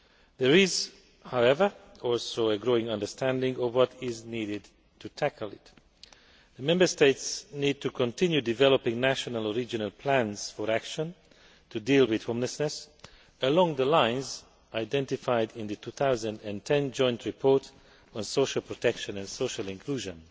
There is, however, also a growing understanding of what is needed to tackle it. The Member States need to continue developing national or regional plans for action to deal with homelessness along the lines identified in the 2010 Joint Report on Social Protection and Social Inclusion.